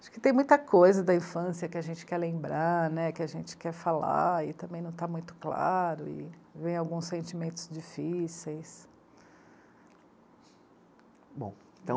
Acho que tem muita coisa da infância que a gente quer lembrar, né, que a gente quer falar e também não está muito claro e vem alguns sentimentos difíceis. Bom,